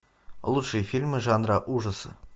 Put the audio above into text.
лучшие фильмы жанра ужасы